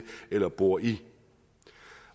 eller bor i